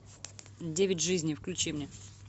девять жизней включи мне